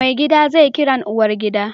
Maigida zai Kiran uwar gida